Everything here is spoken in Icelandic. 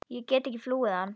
Ég get ekki flúið hann.